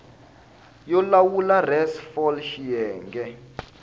yo lawula res fal xiyenge